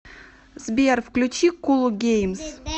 сбер включи кул геймс